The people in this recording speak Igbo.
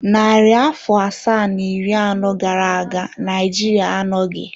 Narị afọ asaa na iri anọ gara aga Naịjirịa anọghị.